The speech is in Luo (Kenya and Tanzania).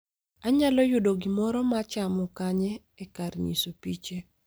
Anyalo yudo gimoro ma chamo kanye e kar nyiso piche